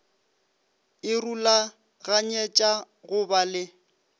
e rulaganyetša go ba le